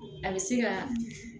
A bɛ se ka